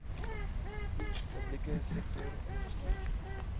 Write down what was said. publieke sektor ingesluit